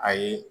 Ayi